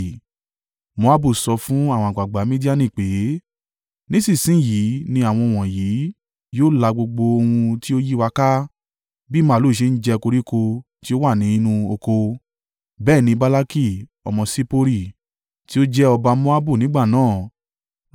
Moabu sọ fún àwọn àgbàgbà Midiani pé, “Nísinsin yìí ni àwọn wọ̀nyí yóò lá gbogbo ohun tí ó yí wa ká, bí màlúù ṣe ń jẹ koríko tí ó wà nínú oko.” Bẹ́ẹ̀ ni Balaki ọmọ Sippori, tí ó jẹ́ ọba Moabu nígbà náà,